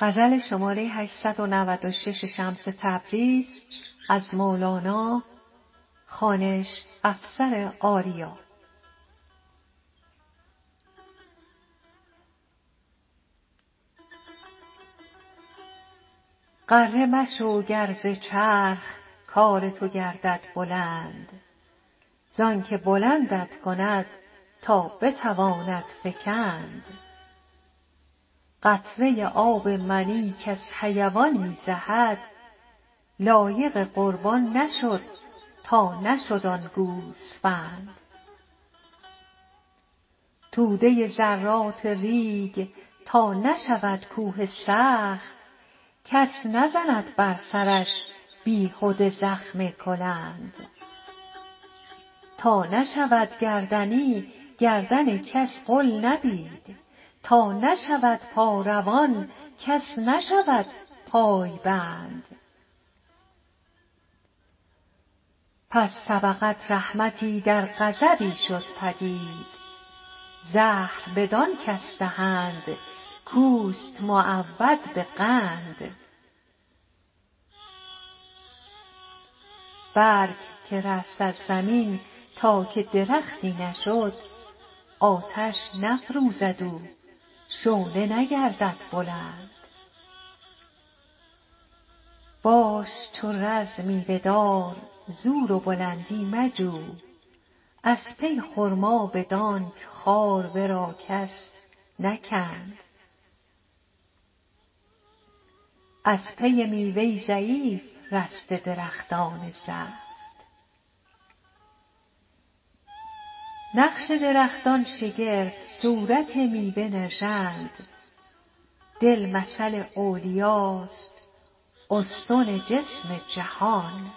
غره مشو گر ز چرخ کار تو گردد بلند زانک بلندت کند تا بتواند فکند قطره آب منی کز حیوان می زهد لایق قربان نشد تا نشد آن گوسفند توده ذرات ریگ تا نشود کوه سخت کس نزند بر سرش بیهده زخم کلند تا نشود گردنی گردن کس غل ندید تا نشود پا روان کس نشود پای بند پس سبقت رحمتی در غضبی شد پدید زهر بدان کس دهند کوست معود به قند برگ که رست از زمین تا که درختی نشد آتش نفروزد او شعله نگردد بلند باش چو رز میوه دار زور و بلندی مجو از پی خرما بدانک خار ورا کس نکند از پی میوه ضعیف رسته درختان زفت نقش درختان شگرف صورت میوه نژند دل مثل اولیاست استن جسم جهان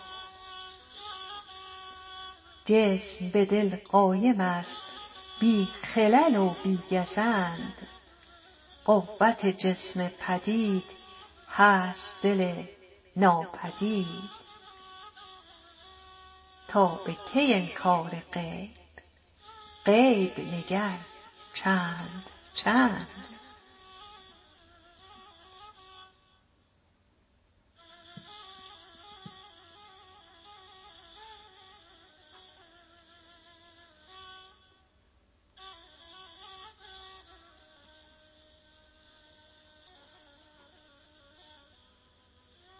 جسم به دل قایم است بی خلل و بی گزند قوت جسم پدید هست دل ناپدید تا به کی انکار غیب غیب نگر چند چند